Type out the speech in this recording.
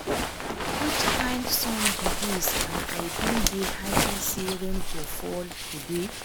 Which kin sun be dịs and I bin dey happy say rain go fall today